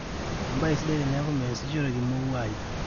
embaye sidai teneeku measishoreki mouyai